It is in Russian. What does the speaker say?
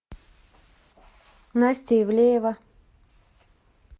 настя ивлеева